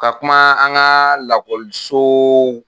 Ka kuma an ka lakɔliso